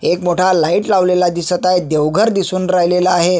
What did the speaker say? एक मोठा लाइट लावलेला दिसत आहे देव घर दिसून राहिलेलं आहे.